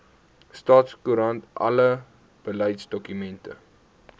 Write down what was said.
staatskoerant alle beleidsdokumente